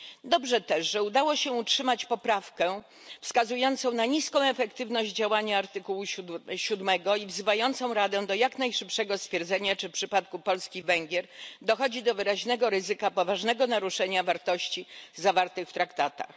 Dobrze też, że udało się utrzymać poprawkę wskazującą na niską efektywność działania artykułu 7 i wzywającą Radę do jak najszybszego stwierdzenia, czy w przypadku Polski i Węgier dochodzi do wyraźnego ryzyka poważnego naruszenia wartości zawartych w Traktatach.